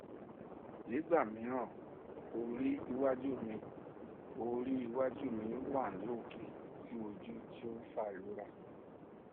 nígbà mìíràn orí iwájú mi orí iwájú mi wà ní òkè sí ojú tí ó ń fa ìrora